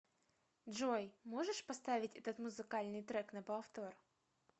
джой можешь поставить этот музыкальный трек на повтор